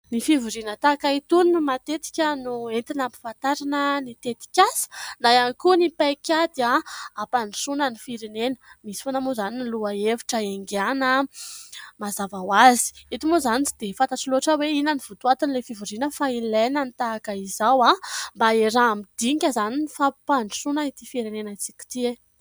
Ny fivoriana tahaka itony no matetika no entina hampafatarana ny tetikasa, na ihany koa ny paikady hampandrosoana ny firenena, misy foana moa izany ny lohahevitra iangana mazava ho azy ; eto moa izany tsy dia fantatro loatra hoe : inona ny votoatin'ilay fivoriana ? Fa ilaina ny tahaka izao mba hiaraha-midinika izany, ny fampandrosoana ity firenentsika ity e !